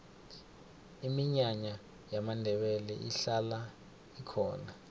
iminyanya yamandebele ihlala ikhona